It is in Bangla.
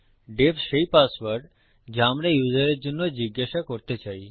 ডিইএফ সেই পাসওয়ার্ড যা আমরা ইউসারের জন্য জিজ্ঞাসা করতে চাই